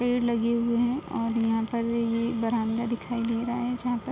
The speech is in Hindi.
पेड़ लगे हुए हैं और यहाँ पर ये बरान्दा दिखाई दे रहा है जहां पर --